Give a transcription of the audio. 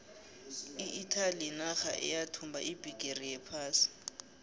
iitaly yinarha eyathumba ibhigiri yephasi